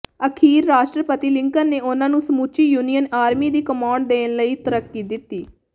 ਅਖੀਰ ਰਾਸ਼ਟਰਪਤੀ ਲਿੰਕਨ ਨੇ ਉਨ੍ਹਾਂ ਨੂੰ ਸਮੁੱਚੀ ਯੂਨੀਅਨ ਆਰਮੀ ਦੀ ਕਮਾਂਡ ਦੇਣ ਲਈ ਤਰੱਕੀ ਦਿੱਤੀ